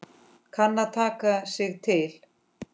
Kann að taka sig til.